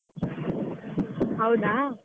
ಹೌದಾ.